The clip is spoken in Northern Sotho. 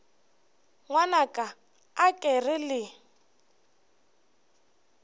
ngwanaka a ke re le